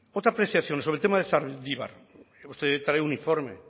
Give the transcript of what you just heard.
otra apreciación sobre el tema de zaldibar hemos traído un informe